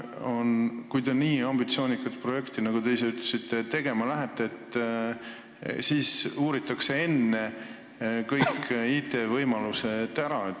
Enne, kui te nii ambitsioonikat projekti, nagu te ise ütlesite, tegema lähete, uuritakse kõiki IT-võimalusi.